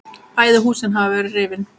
Bæði húsin hafa verið rifin.